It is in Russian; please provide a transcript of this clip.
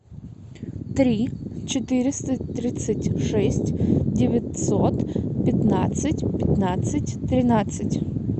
три четыреста тридцать шесть девятьсот пятнадцать пятнадцать тринадцать